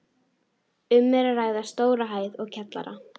Um er að ræða stóra hæð og kjallara.